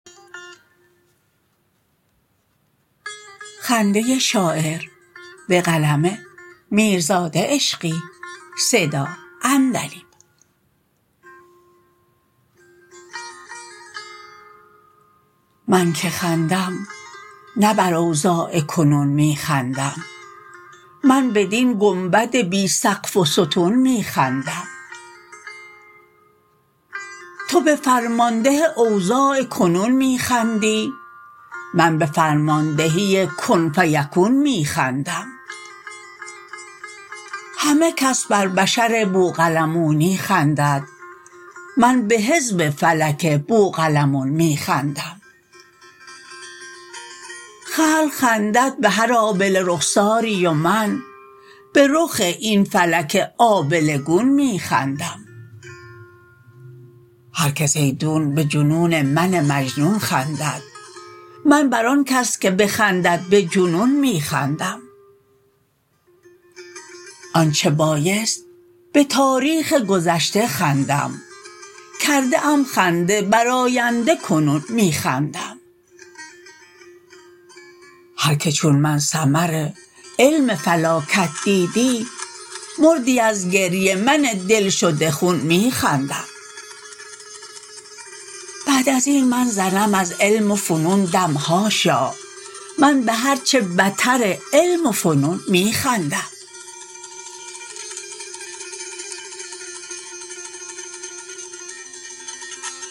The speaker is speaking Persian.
من که خندم نه بر اوضاع کنون می خندم من بدین گنبد بی سقف و ستون می خندم تو به فرمانده اوضاع کنون می خندی من به فرماندهی کن فیکون می خندم همه کس بر بشر بوقلمونی خندد من به حزب فلک بوقلمون می خندم خلق خندند به هر آبله رخساری و من به رخ این فلک آبله گون می خندم هرکس ایدون به جنون من مجنون خندد من بر آن کس که بخندد به جنون می خندم آنچه بایست به تاریخ گذشته خندم کرده ام خنده بر آینده کنون می خندم هرکه چون من ثمر علم فلاکت دیدی مردی از گریه من دلشده خون می خندم بعد از این من زنم از علم و فنون دم حاشا من به هرچه بتر علم و فنون می خندم